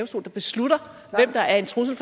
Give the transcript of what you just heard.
som kan beslutte hvem der er en trussel